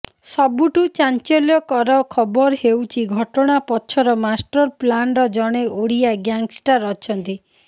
ସବୁଠୁ ଚାଞ୍ଚଲ୍ୟକର ଖବର ହେଉଛି ଘଟଣା ପଛର ମାଷ୍ଟରପ୍ଲାନର ଜଣେ ଓଡ଼ିଆ ଗ୍ୟାଙ୍ଗଷ୍ଟର ଅଛନ୍ତି